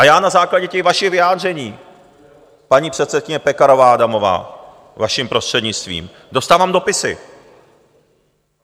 A já na základě těch vašich vyjádření, paní předsedkyně Pekarová Adamová, vaším prostřednictvím, dostávám dopisy.